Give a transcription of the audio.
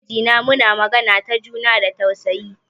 Ni da mijina muna magana da juna da tausayawa.